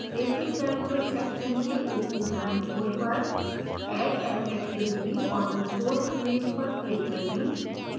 basic calculus section के ऊपरी दाईं ओर पर add an activity or resource link पर click करें